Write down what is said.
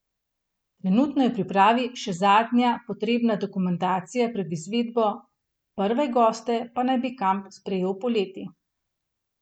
Trenutno je v pripravi še zadnja potrebna dokumentacija pred izvedbo, prve goste pa naj bi kamp sprejel poleti.